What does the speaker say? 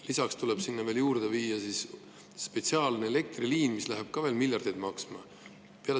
Lisaks tuleb sinna juurde viia spetsiaalne elektriliin, mis läheb veel miljardeid maksma.